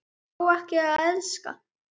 Fá ekki að elska.